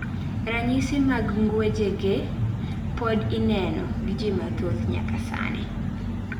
Ranyisi mag ng'wejege pod ineno gi jii mathoth nyaka sani